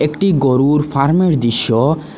একটি গরুর ফার্মের দৃশ্য।